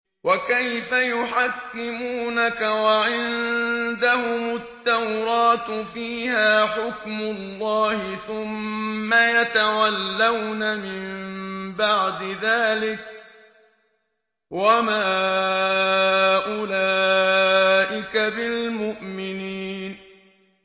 وَكَيْفَ يُحَكِّمُونَكَ وَعِندَهُمُ التَّوْرَاةُ فِيهَا حُكْمُ اللَّهِ ثُمَّ يَتَوَلَّوْنَ مِن بَعْدِ ذَٰلِكَ ۚ وَمَا أُولَٰئِكَ بِالْمُؤْمِنِينَ